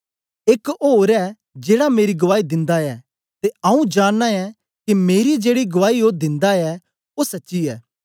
एक ओर ऐ जेड़ा मेरी गुआई दिंदा ऐ ते आऊँ जानना ऐ के मेरी जेड़ी गुआई ओ दिंदा ऐ ओ सच्ची ऐ